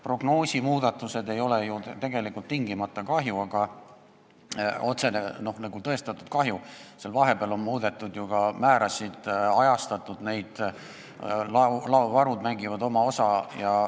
Prognoosimuudatused ei ole ju tegelikult tingimata otsene tõestatud kahju, seal vahepeal on muudetud ka määrasid, neid on ajatatud, ka laovarud mängivad oma osa.